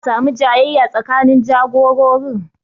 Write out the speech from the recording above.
Za'a samu jayayya tsakanin jagororin